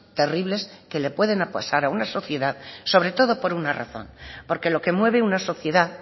terribles que le pueden pasar a una sociedad sobre todo por una razón porque lo que mueve una sociedad